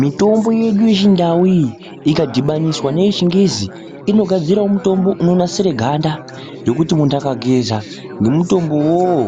Mitombo yedu yechindau iyi, ikadibaniswa neyechingezi, inogadzirawo mutombo unonasire ganda, rokuti muntu agageza nemutombo wowo,